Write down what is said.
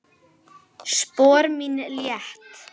Spor mín létt.